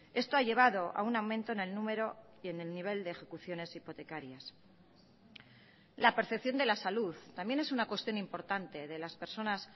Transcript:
esto ha llevado a un aumento en el número y en el nivel de ejecuciones hipotecarias la percepción de la salud también es una cuestión importante de las personas